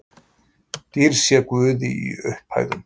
Dýrð sé Guði í upphæðum